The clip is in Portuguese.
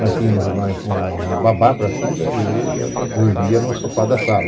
Mas tínhamos uma babá para filha e ela dormia no sofá da sala.